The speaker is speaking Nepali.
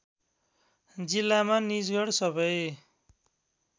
जिल्लामा निजगढ सबै